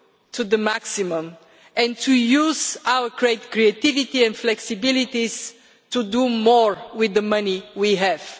euro to the maximum and to use our great creativity and flexibilities to do more with the money we have.